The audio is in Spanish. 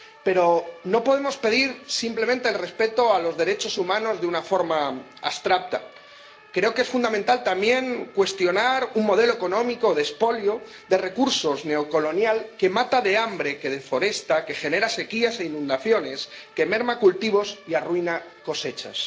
Pero no podemos pedir simplemente el respeto a los derechos humanos de una forma abstracta. Creo que es fundamental también cuestionar un modelo económico de expolio de recursos neocolonial que mata de hambre, que deforesta, que genera sequías e inundaciones, que merma cultivos y arruina cosechas.